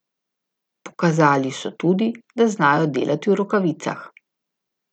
Pokazali so tudi, da znajo delati v rokavicah.